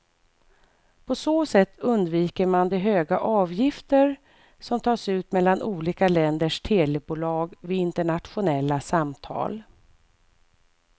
På så sätt undviker man de höga avgifter som tas ut mellan olika länders telebolag vid internationella samtal.